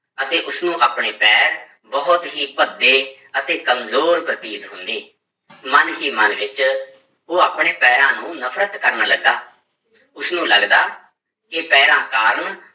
ਅਤੇ ਉਸਨੂੰ ਆਪਣੇ ਪੈਰ ਬਹੁਤ ਹੀ ਭੱਦੇ ਅਤੇ ਕੰਮਜ਼ੋਰ ਪ੍ਰਤੀਤ ਹੁੰਦੇ ਮਨ ਹੀ ਮਨ ਵਿੱਚ ਉਹ ਆਪਣੇ ਪੈਰਾਂ ਨੂੰ ਨਫ਼ਰਤ ਕਰਨ ਲੱਗਾ, ਉਸਨੂੰ ਲੱਗਦਾ ਕਿ ਪੈਰਾਂ ਕਾਰਨ